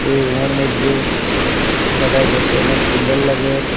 এই রুমের মইদ্যে সোফাটাও দেখতে অনেক সুন্দর লাগের।